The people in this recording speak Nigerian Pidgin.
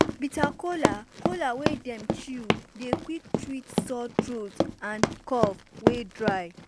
bitter kola kola wey dem chew dey quick treat sore throat and cough wey dry.